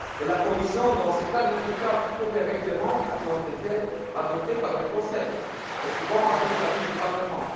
La Commission, dans ce cas, ne peut qu'appliquer des règlements qui ont été adoptés par le Conseil, souvent avec l'avis du Parlement.